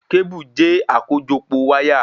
Kébù je akojopo wáyà